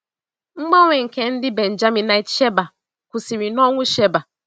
Mgbanwe nke ndị Benjaminite Sheba kwụsịrị na ọnwụ Sheba.